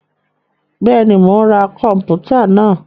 Bẹẹni, Mó n rá kọnputa náà